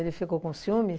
Ele ficou com ciúmes?